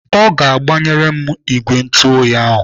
Ọ ga-agbanyere m ìgwè ntuoyi taa.